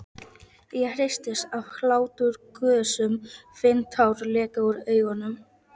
Ég hristist af hláturgusum, finn tár leka úr augunum.